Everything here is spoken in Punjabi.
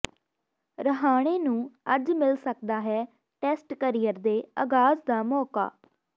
ਰਾਹਾਣੇ ਨੂੰ ਅੱਜ ਮਿਲ ਸਕਦਾ ਹੈ ਟੈਸਟ ਕਰੀਅਰ ਦੇ ਆਗਾਜ਼ ਦਾ ਮੌਕਾ